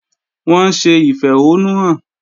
Wọ́n ń ṣe ìfẹ̀hónúhàn.